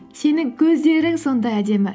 сенің көздерің сондай әдемі